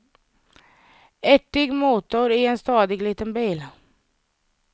Ärtig motor i en stadig liten bil.